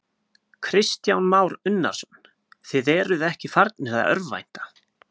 Kristján Már Unnarsson: Þið eruð ekki farnir að örvænta?